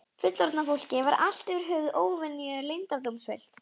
Fullorðna fólkið var allt yfir höfuð óvenju leyndardómsfullt.